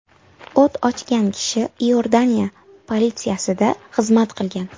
O‘t ochgan kishi Iordaniya politsiyasida xizmat qilgan.